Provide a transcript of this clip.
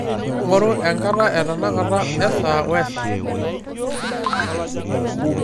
ng'oru enkata etenakata esaa oesaa